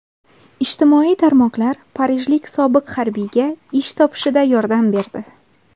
Ijtimoiy tarmoqlar parijlik sobiq harbiyga ish topishida yordam berdi.